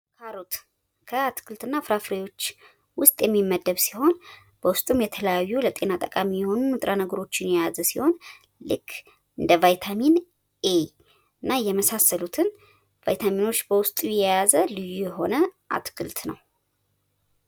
ካሮት ካትክልትና ፍራፍሬዎች ውስጥ የሚመደብ ሲሆን በውስጡም የተለያዩ ለጤና ጠቃሚ የሆኑ ንጥረ ነገሮችን የያዘ ሲሆን ልክ እንደ ቫይታሚን ኤ እና የመሳሰሉትን ቫይታሚኖች በውስጡ የያዘ ልዩ የሆነ አትክልት ነው።